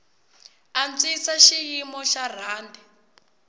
antswisa xiyimo xa rhandi